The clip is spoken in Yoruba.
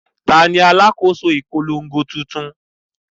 Ta ni alákòóso ìpolongo tuntun?